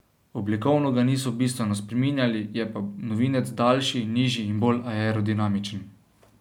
Oblikovno ga niso bistveno spreminjali, je pa novinec daljši, nižji in bolj aerodinamičen.